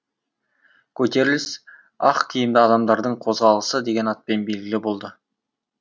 көтеріліс ақ киімді адамдардың қозғалысы деген атпен белгілі болды